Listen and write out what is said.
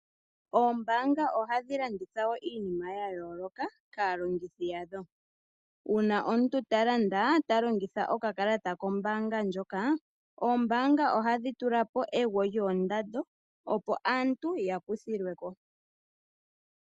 Ombaanga ohadhi landitha wo iinima yayooloka kalongithi yadho uuna omuntu talanda talongitha okakalata kombanga ndjoka, oombanga ohadhi tula po egwo lyoondando opo aantu yakuthilwe ko.